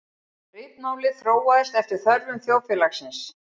Ritmálið þróaðist eftir þörfum þjóðfélagsins.